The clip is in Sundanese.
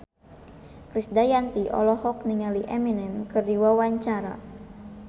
Krisdayanti olohok ningali Eminem keur diwawancara